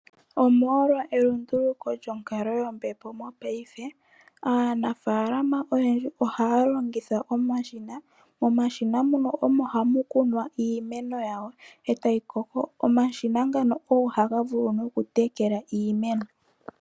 Omolwa elunduluko lyonkalo yombepo mopaife, aanafaalama oyendji ohaya longitha omashina. Momashina muno omo hamu kunwa iimeno yawo, e tayi koko. Omashina ngano ogo haga vulu nokutekela iimeno.